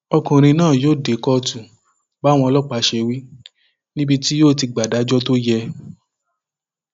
ọkùnrin náà yóò dé kóòtù báwọn ọlọpàá ṣe wí níbi tí yóò ti gba ìdájọ tó yẹ